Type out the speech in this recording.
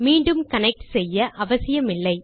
மீண்டும் கனெக்ட் செய்ய அவசியமில்லை